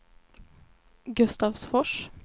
Gustavsfors